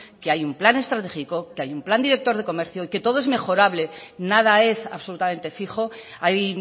que hay un plan estratégico que hay un plan director de comercio y que todo es mejorable nada es absolutamente fijo hay